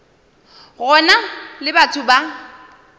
go na le batho ba